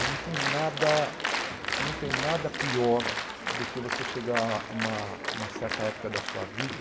E não tem nada não tem nada pior do que você chegar a uma uma certa época da sua vida